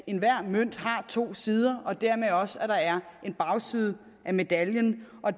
enhver mønt har to sider og dermed også at der er en bagside af medaljen og